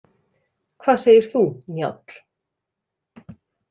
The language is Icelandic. Hvað segir þú, Njáll?